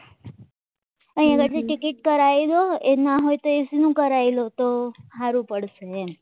અહીંયા આગળ ટિકિટ પર આઈ જાવ એના હોય તો એસીનું કરાવી દે તો સારું પડશે